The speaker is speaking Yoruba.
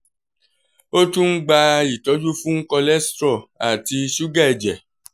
o tun n gba itọju fun cholesterol ati suga ẹjẹ